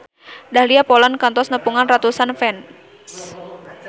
Dahlia Poland kantos nepungan ratusan fans